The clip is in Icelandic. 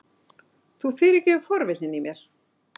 Þú fyrirgefur forvitnina í mér!